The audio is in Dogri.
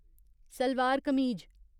सलवार कमीज